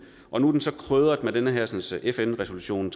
og nu er den så krydret med den hersens fn resolution